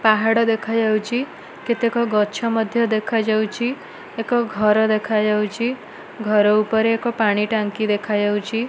ପାହାଡ ଦେଖାଯାଉଛି କେତେକ ଗଛ ମଧ୍ଯ ଦେଖାଯାଉଛି ଏକଘର ଦେଖାଯାଉଛି ଘର ଉପରେ ପାଣି ଟାଙ୍କି ମଧ୍ଯ ଦେଖାଯାଉଛି।